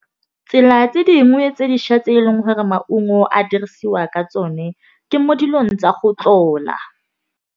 Tsela tse dingwe tse dišwa tse eleng gore maungo a dirisiwa ka tsone, ke mo dilong tsa go tlola.